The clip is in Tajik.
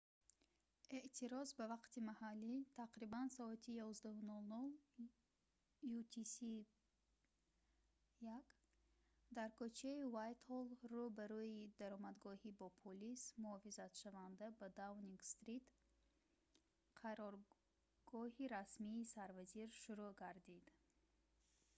эътироз ба вақти маҳаллӣ тақрибан соати 11:00 utc+1 дар кӯчаи уайтҳолл дар рӯ ба рӯи даромадгоҳи бо полис муҳофизатшаванда ба даунинг стрит қароргоҳи расмии сарвазир шурӯъ гардид